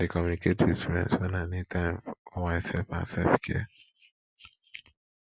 i dey communicate with friends wen i need time for myself and selfcare